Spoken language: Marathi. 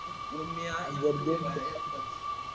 मग मी आलो की बाहेर एकटाच